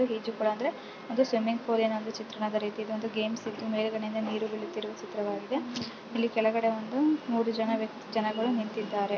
ಸುತ್ತಲು ಒಂದು ಕಾಂಪೌಂಡ್ ಇದೆ ಇದೊಂದು ಈ ಚಿತ್ರ ಇದು ಈಜು ಕೊಳ್ಅಂ ದರೆ ಒಂದು ಸ್ವಿಮ್ಮಿಂಗ್ಫೂಲ್ ನ ಚಿತ್ರಣದ ರೀತಿ ಇದೊಂದು ಗೇಮ್ಸ್ ಇತ್ತು ಮೇಲೆಗಡೆ ಇಂದ ನೀರು ಬೀಳುತ್ತಿರುವ ಚಿತ್ರವಾಗಿದೆ ಇಲ್ಲಿ ಕೆಳಗಡೆ ಒಂದು ಮೂರು ಜನ ಜನಗಳು ನಿಂತಿದ್ದಾರೆ .